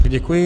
Děkuji.